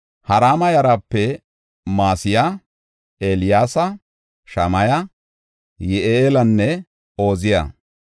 Harima yarape Ma7iseya, Eeliyaasa, Shamaya, Yi7eelanne Ooziya.